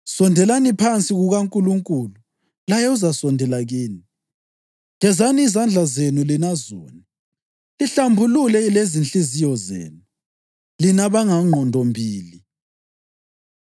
Sondelani phansi kukaNkulunkulu laye uzasondela kini. Gezani izandla zenu lina zoni, lihlambulule lezinhliziyo zenu, lina abangqondombili.